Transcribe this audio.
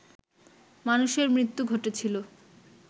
মানুষের মৃত্যু ঘটেছিল